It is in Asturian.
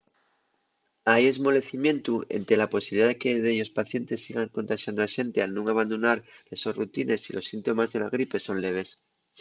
hai esmolecimientu énte la posibilidá de que dellos pacientes sigan contaxando a xente al nun abandonar les sos rutines si los síntomes de la gripe son leves